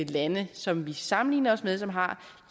lande som vi sammenligner os med som har